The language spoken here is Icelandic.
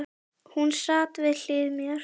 Hún sat við hlið mér.